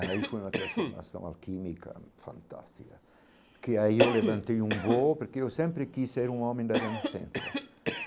Aí foi uma transformação alquímica fantástica, que aí eu levantei um voo, porque eu sempre quis ser um homem da renascença.